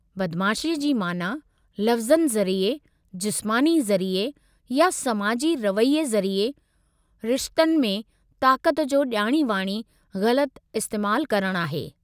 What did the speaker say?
बदमाशीअ जी माना लफ़्ज़नि ज़रिए, जिस्मानी ज़रिए, या समाजी रवैये ज़रिए रिशतनि में ताक़त जो ॼाणी वाणी ग़लति इस्तेमाल करणु आहे।